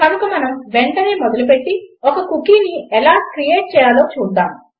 కనుక మనం వెంటనే మొదలుపెట్టి ఒక కుకీని ఎలా క్రియేట్ చేయాలో చూద్దాము